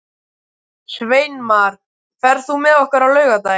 Sveinmar, ferð þú með okkur á laugardaginn?